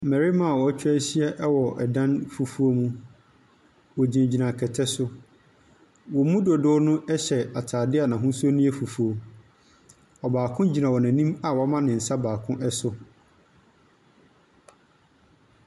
Mbɛrema wetwa ehyia ɛwɔ ɛdan fufuuo mu . Wogyinagyina kɛtɛ so, wɔn mu dodoɔ no ɛhyɛ ataadeɛ n'ahosuo no yɛ fufuuo. Ɔbaako gyina wɔn enim a wama ne nsa baako ɛso.